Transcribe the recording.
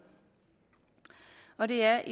og det er